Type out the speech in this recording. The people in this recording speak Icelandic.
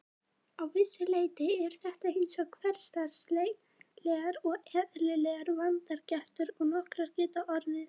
Að vissu leyti eru þetta eins hversdagslegar og eðlilegar vangaveltur og nokkrar geta orðið.